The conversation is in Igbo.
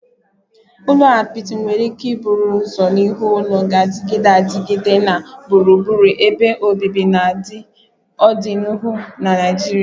Ụlọ apịtị nwere ike bụrụ ụzọ iwu ụlọ ga-adịgide adịgide na gburugburu ebe obibi na ọdịnihu na Naijiria